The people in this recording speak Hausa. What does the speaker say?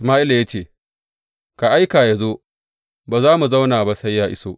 Sama’ila ya ce, Ka aika yă zo, ba za mu zauna ba sai ya iso.